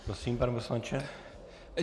Prosím, pane poslanče.